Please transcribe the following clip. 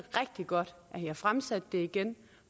godt at i har fremsat det igen